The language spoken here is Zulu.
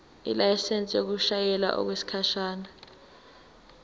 ilayisensi yokushayela okwesikhashana